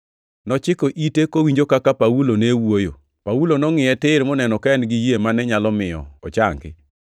Nochiko ite kowinjo kaka Paulo ne wuoyo. Paulo nongʼiye tir moneno ka en-gi yie mane nyalo miyo ochangi,